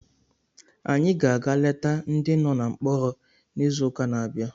Anyị ga-aga leta ndị nọ na mkpọrọ n'izuụka na-abịa